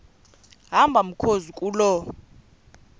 hamba mkhozi kuloo